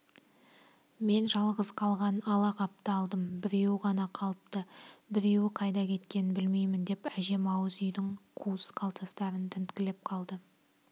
мен жалғыз қалған ала қапты алдым біреуі ғана қалыпты біреуі қайда кеткенін білмеймін деп әжем ауыз үйдің қуыс-қалтарыстарын тінткілеп қалды